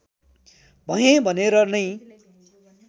भएँ भनेर नै